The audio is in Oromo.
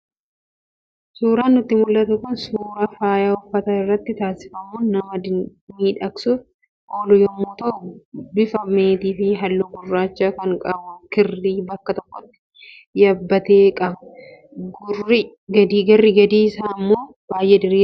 Suuraan nutti mul'atu kun suuraa faaya uffata irratti taasifamuun nama miidhagsuuf oolu yommuu ta'u, bufa meetii fi halluu gurraacha kan qabu kirrii bakka tokkotti yabbate qaba. Garri gadii isaa immoo baay'ee diriiraadha.